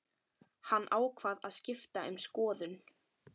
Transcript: Hann ákvað að skipta um skoðun.